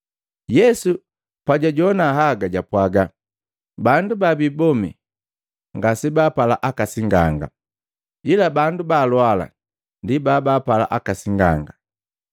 Yesu pajwajoana haga, japwaaga, “Bandu babii bomi ngaseampala aka singanga ila baalwala ndi baapala aka singanga.